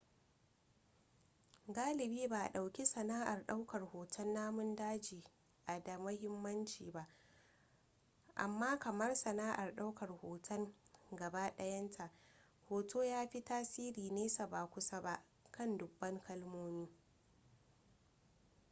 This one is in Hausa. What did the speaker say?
galibi ba a dauki sana'ar daukar hoton namun daji a da muhimmanci ba amma kamar sana'ar daukar hoton gaba dayanta hoto ya fi tasiri nesa ba kusa ba kan dubban kalmomi